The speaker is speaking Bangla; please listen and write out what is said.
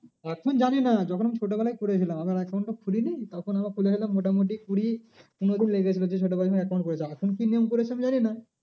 এখন জানি না যখন এই ছোটো বেলায় করেছিলাম আমার account তো খুলিনি তখন আমি খুলেছিলাম মোটামুটি কুড়ি পনেরো দিন লেগে গিয়েছিলো যে ছোটো বেলায় যখন account করেছিলাম। এখন কি নিয়ম করেছে আমি জানি না।